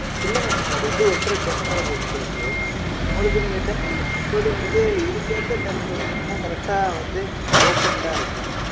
இல்ல mam நீங்க அது வந்து ஒட்டுற temperature அ பொறுத்து இருக்கு. உங்களுக்கு நீங்க temper ஒட்டும்போது வந்து, இதுக்கேத்த temper ஒட்டீங்கன்னா, correct ஆ வந்து, open ஆ இருக்கும்.